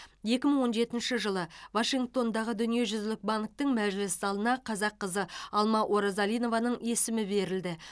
екі мың он жетінші жылы вашингтондағы дүниежүзілік банктің мәжіліс залына қазақ қызы алма оразалинованың есімі берілді